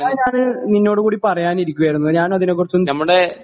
അത് ഞാന് നിന്നോട് കൂടെ പറയാനിരിക്കുകയായിരുന്നു ഞാനതിനെ കുറിച്ച് ഒന്ന്